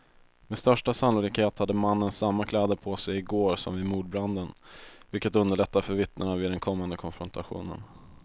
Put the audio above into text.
Med största sannolikhet hade mannen samma kläder på sig i går som vid mordbranden, vilket underlättar för vittnena vid den kommande konfrontationen.